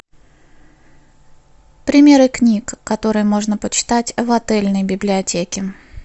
примеры книг которые можно почитать в отельной библиотеке